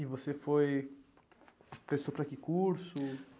E você foi... Prestou para que curso?